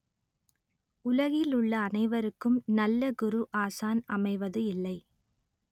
உலகில் உள்ள அனைவருக்கும் நல்ல குரு ஆசான் அமைவது இல்லை